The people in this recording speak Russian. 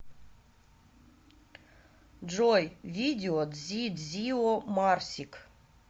джой видео дзидзио марсик